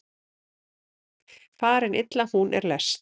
Farin illa hún er lest.